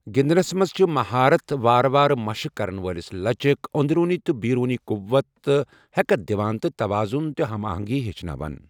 گِندنس منز چھِ مہارت وارٕ وارٕ مشق كرن والِس لچك ، اندروٗنی تہٕ بیروٗنی قووت تہٕ ہیكتھ دِوان تہٕ تواضُن تہ ہم آہنگی ہیچھناوان ۔